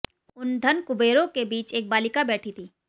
उन धन कुबेरों के बीच एक बालिका बैठी थी